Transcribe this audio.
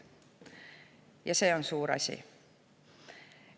Ja see on suur asi.